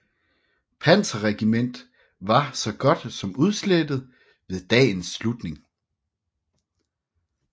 Panzerregiment var så godt som udslettet ved dagens slutning